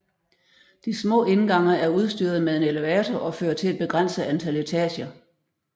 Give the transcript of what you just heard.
De små indgange er udstyret med en elevator og fører til et begrænset antal etager